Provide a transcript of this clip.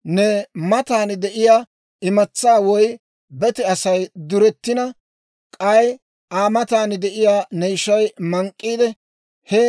« ‹Ne matan de'iyaa imatsaa woy bete Asay duretina, k'ay Aa matan de'iyaa ne ishay mank'k'iide, he